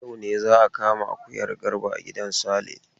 Yau ne za a kama akuyan Garba a gidan Sale.